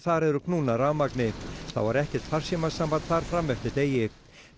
þar eru knúnar rafmagni þá var ekkert farsímasamband þar fram eftir degi